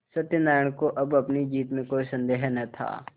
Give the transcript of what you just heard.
सत्यनाराण को अब अपनी जीत में कोई सन्देह न था